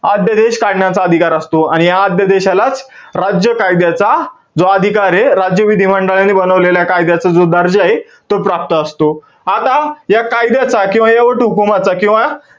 आद्यदेश काढण्याचा अधिकार असतो. आणि या आद्यदेशालाच राज्य कायद्याचा जो अधिकारे, राज्य विधिमंडळाने बनवलेल्या कायद्याचा जो दर्जाय, तो प्राप्त असतो. आता, या कायद्याचा किंवा या वटहुकूमाचा, किंवा,